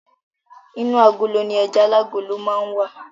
Inú agolo ni ẹja alágolo máa n wa.